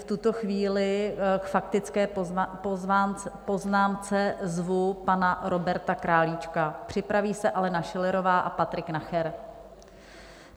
V tuto chvíli k faktické poznámce zvu pana Roberta Králíčka, připraví se Alena Schillerová a Patrik Nacher.